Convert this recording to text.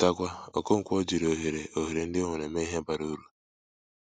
Chetakwa, Okonkwo jiri òhèrè òhèrè ndị ọ nwèrè mee Ihe bárá uru.